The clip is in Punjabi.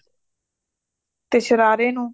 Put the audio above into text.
ਤੇ ਸ਼ਰਾਰੇ ਨੂੰ